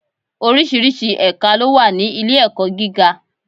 Oríṣiríṣi ẹ̀ka ló wà ní ilé-ẹ̀kọ́ gíga.